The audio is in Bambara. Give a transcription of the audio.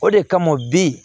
O de kama bi